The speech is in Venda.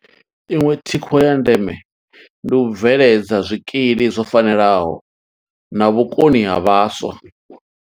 Iṅwe thikho ya ndeme ndi u bveledza zwikili zwo fanelaho na vhukoni ha vhaswa.